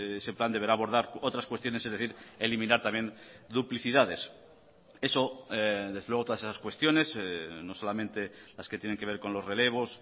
ese plan deberá abordar otras cuestiones es decir eliminar también duplicidades eso desde luego todas esas cuestiones no solamente las que tienen que ver con los relevos